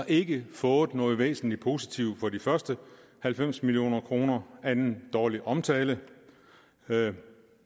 ikke fået noget væsentlig positivt for de første halvfems million kroner andet end dårlig omtale